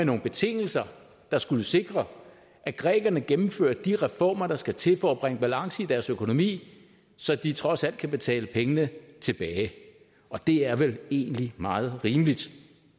nogle betingelser der skulle sikre at grækerne gennemførte de reformer der skal til for at bringe balance i deres økonomi så de trods alt kan betale pengene tilbage det er vel egentlig meget rimeligt